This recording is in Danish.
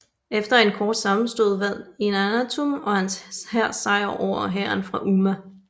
Efter en kort sammenstød vandt Eannatum og hans hær sejr over hæren fra Umma